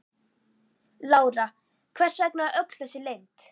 Lára: Hvers vegna öll þessi leynd?